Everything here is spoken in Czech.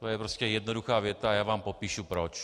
To je prostě jednoduchá věta a já vám popíšu proč.